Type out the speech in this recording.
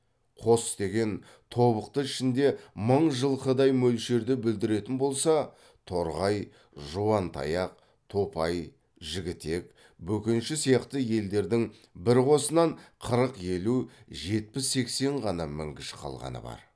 қос деген тобықты ішінде мың жылқыдай мөлшерді білдіретін болса торғай жуантаяқ топай жігітек бөкенші сияқты елдердің бір қосынан қырық елу жетпіс сексен ғана мінгіш қалғаны бар